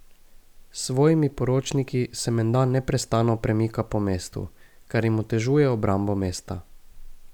S svojimi poročniki se menda neprestano premika po mestu, kar jim otežuje obrambo mesta.